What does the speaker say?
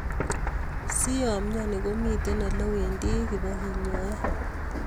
si yoimnyoni, komiten olewendi kebigenyoi